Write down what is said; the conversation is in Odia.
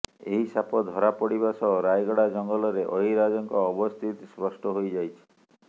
ଏହି ସାପ ଧରାପଡିବା ସହ ରାୟଗଡା ଜଙ୍ଗଲରେ ଅହିରାଜଙ୍କ ଅବସ୍ଥିତି ସ୍ପଷ୍ଟ ହୋଇଯାଇଛି